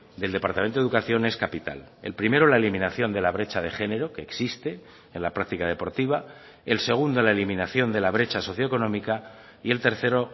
del departamento de educación es capital el primero la eliminación de la brecha de género que existe en la práctica deportiva el segundo la eliminación de la brecha socioeconómica y el tercero